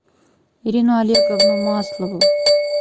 ирину олеговну маслову